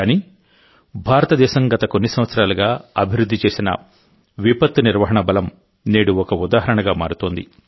కానీ భారతదేశం గత కొన్ని సంవత్సరాలుగా అభివృద్ధి చేసిన విపత్తు నిర్వహణ బలం నేడు ఒక ఉదాహరణగా మారుతోంది